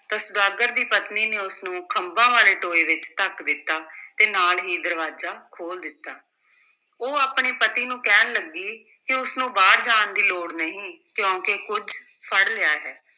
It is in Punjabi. ਤਾਂ ਸੁਦਾਗਰ ਦੀ ਪਤਨੀ ਨੇ ਉਸ ਨੂੰ ਖੰਭਾਂ ਵਾਲੇ ਟੋਏ ਵਿੱਚ ਧੱਕ ਦਿੱਤਾ ਤੇ ਨਾਲ ਹੀ ਦਰਵਾਜ਼ਾ ਖੋਲ੍ਹ ਦਿੱਤਾ, ਉਹ ਆਪਣੇ ਪਤੀ ਨੂੰ ਕਹਿਣ ਲੱਗੀ ਕਿ ਉਸ ਨੂੰ ਬਾਹਰ ਜਾਣ ਦੀ ਲੋੜ ਨਹੀਂ, ਕਿਉਂਕਿ ਕੁੱਝ ਫੜ ਲਿਆ ਹੈ।